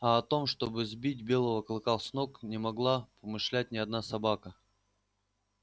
а о том чтобы сбить белого клыка с ног не могла помышлять ни одна собака